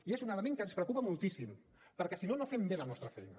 i és un element que ens preocupa moltíssim perquè si no no fem bé la nostra feina